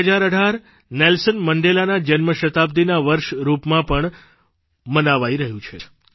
2018 Nelson મંડેલાના જન્મ શતાબ્દિના વર્ષના રૂપમાં પણ મનાવાઇ રહ્યું છે